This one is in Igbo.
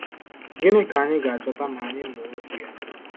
Gịnị ka anyị ga-achọta ma anyị mụọ Okwu ya?